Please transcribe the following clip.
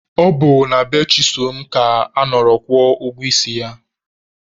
Ọ bụ na be Chisom ka a nọrọ kwụọ ụgwọ isi ya.